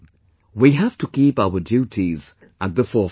We have to keep our duties at the forefront